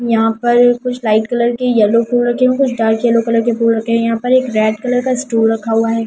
यहां पर कुछ लाइट कलर के येलो फूल रखे हैं कुछ डार्क येलो कलर के फूल रखे हैं यहां पर एक रेड कलर का स्टूल रखा हुआ है।